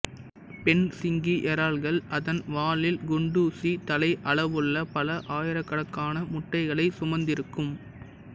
பெண் சிங்கி இறால்கள் அதன் வாலில் குண்டூசி தலை அளவுள்ள பல ஆயிரக்கணக்கான முட்டைகளை சுமந்திருக்கும்